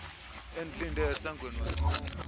endilinde esangweni wancuma